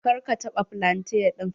Kar ka taɓa flante ɗin.